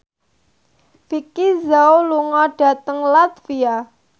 Vicki Zao lunga dhateng latvia